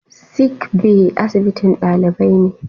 Sickbay asibitin dalibai ne.